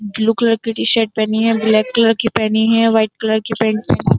Blue colour की t-shirt पहनी है। ब्लैक कलर की पहनी है। वाइट कलर की पेंट --